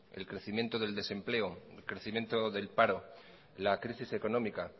el crecimiento del desempleo el crecimiento del paro la crisis económica